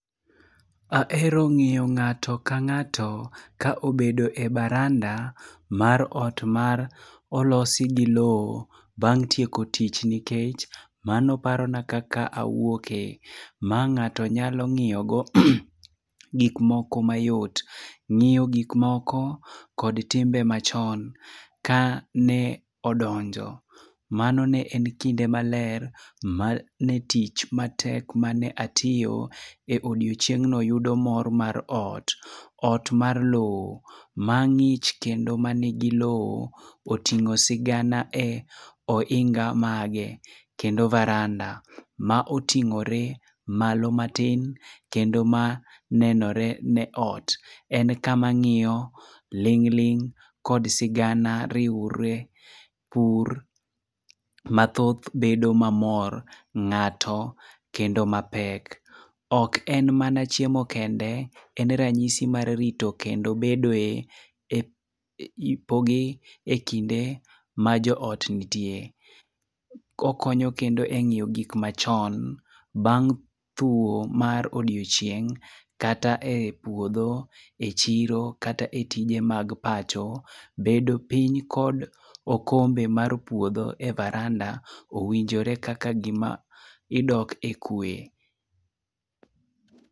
Ahero ng'iyo ng'ato ka ng'ato ka obedo e baranda mar ot mar olos gi lowo, bang' tieko tich nikech mano parona kaka awuokie. Ma ng'ato nyalo ng'iyogo gik moko mayot. Ng'iyo gik moko, kod timbe machon kane odonjo. Mano ne en kinde maler mane tich matek mane atiyo e odiechieng' no yudo mor mar ot. Ot mar lowo mang'ich kendo nigi lowo. Oting'o sigana e oinga mage, kendo baranda ma oting'ore malo matin kendo manenore ni ot. En kama ng'iyo ling' ling' kod sigana riwre pur mathoth bedo mamor ng'ato kendo mapek. Ok en mana chiemo kende, en ranyisi mar rito kendo bedoe ipogi ekinde ma joot nitie. Okonyo kendo e ng'iyo gik machon. Bang' thuo mar odiechieng', kata e puodho, echiro kata e tije mag pacho. Bedo piny kod okombe mar puodho e baranda owinjore kaka gima idok ekwe.